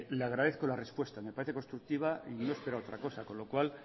le agradezco la respuesta me parece constructiva y yo esperaba otra cosa con lo cual